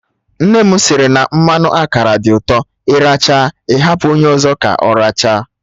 Nne m sịrị na mmanụ akara dị ụtọ, ị rachaa ị hapụ onye ọzọ ka ọ rachaa